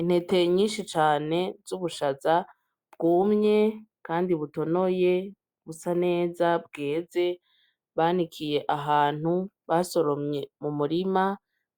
Intete nyinshi cane z'ubushaza bwumye kandi butonoye busa neza bweze banikiye ahantu basoromye mu murima,